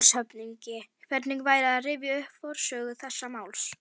LANDSHÖFÐINGI: Hvernig væri að rifja upp forsögu þessa máls?